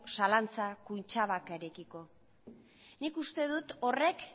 zalantza kutxabankarekiko nik uste dut horrek